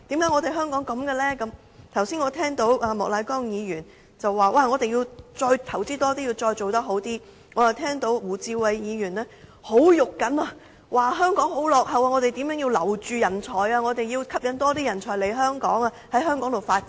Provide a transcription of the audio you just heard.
我剛才聽到莫乃光議員說我們要再投資多一點，再做好一點，我又聽到胡志偉議員很着緊地說香港十分落後於人，我們應如何留住人才，以及吸引更多人才來香港發展等。